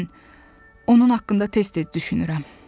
Lakin mən onun haqqında tez-tez düşünürəm.